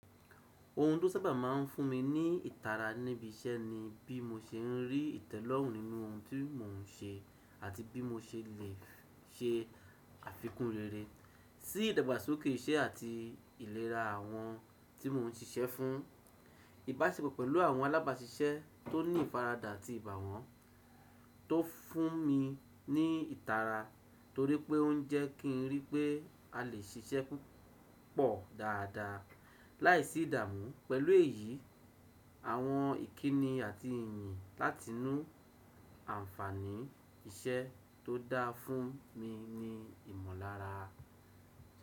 Ohun tó sábà má n fún mi ní ìtara níbi iṣẹ́ ni bí mo ṣe n rí ìtẹ́lọ́rùn nínú ohun tí mò n ṣe àti bí mo ṣe lè ṣe àfikún rere sí ìdàgbàsókè iṣẹ́ àti ìlera àwọn tí mò n ṣiṣẹ́ fún. Ìbáṣepọ̀ pẹ̀lú àwọn alábáṣiṣẹ́ tó ní ìfaradà àti ìbà wọn tó fún mi ní ìtara torí pé ó n jẹ́ kí n rí pé a lè ṣiṣẹ́ púpọ̀ dáadáa láìsí ìdààmú. Pẹ̀lú èyí, àwọn ìkíni àti ìyìn láti inú ànfàní iṣẹ́ tó dá fún mi ni ìmọ̀lára.